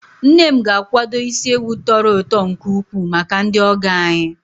Nne m ga-akwado isi ewu tọrọ ụtọ nke ukwuu maka ndị ọgọ anyị.